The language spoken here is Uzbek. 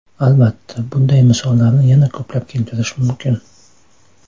Albatta, bunday misollarni yana ko‘plab keltirish mumkin.